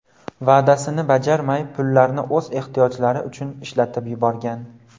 va’dasini bajarmay, pullarni o‘z ehtiyojlari uchun ishlatib yuborgan.